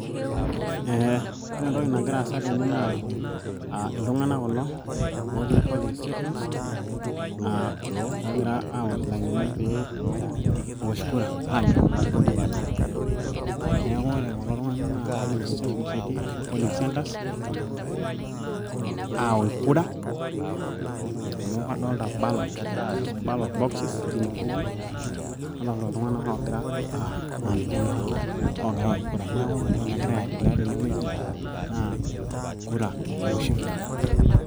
eh, ore entoki nagira aasa tene naa iltung'anak kulo otii poling stations uh, ogira awosh ilainini peewosh kura agelu ilarikok lenye neeku ore kulo tung'anak naa polling stations etii ashu polling centres awosh kura amu kadolta ballot boxes tinewueji nadolta iltung'anak ogira uh ninche naa ogira awosh kura neeku ore entoki nagira aendelea tenewueji.